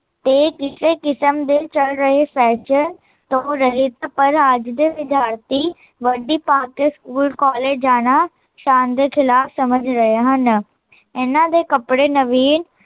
ਤੇ ਕਿਸੇ ਕਿਸਮ ਦੇ ਚੱਲ ਰਹੇਫੈਸ਼ਨ ਤੋਂ ਰਹਿਤ, ਪਰ ਅੱਜ ਦੇ ਵਿਦਿਆਰਥੀ, ਵਰਦੀ ਪਾਕੇ ਸਕੂਲ ਕੋਲਜ ਜਾਣਾ, ਸ਼ਾਨ ਦੇ ਖਿਲਾਫ ਸਮਜ ਰਹੇ ਹਨ ਇਹਨਾਂ ਦੇ ਕੱਪੜੇ ਨਵੀਂਨ